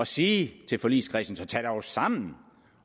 sige til forligskredsen så tag jer dog sammen